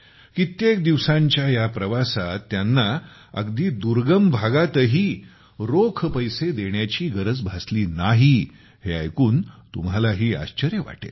कित्येक दिवसांच्या या प्रवासात त्यांना अगदी दुर्गम भागातही पैसे देण्याची गरज भासली नाही हे ऐकून तुम्हालाही आश्चर्य वाटेल